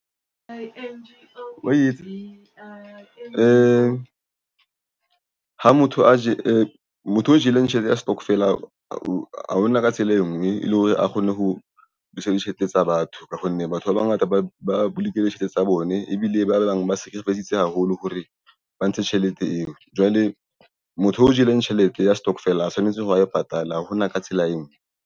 Ha motho o jele tjhelete ya setokofela ha hona ka tsela e nngwe e le hore a kgone ho busa ditjhelete tsa batho ka hobane batho ba bangata ba bolokile tjhelete tsa bone ebile ba bang ba se ke sacrifice-tse haholo hore ba ntshe tjhelete eo. Jwale motho o jele tjhelete ya stokvel a tshwanetse ho wa e patala hona ka tsela e nngwe